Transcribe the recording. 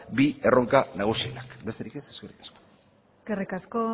bi erronka nagusiak besterik ez eskerrik asko